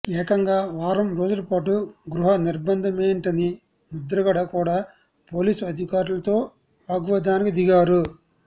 ఏకంగా వారం రోజుల పాటు గృహ నిర్బంధమేంటని ముద్రగడ కూడా పోలీసు అధికారులతో వాగ్వాదానికి దిగారు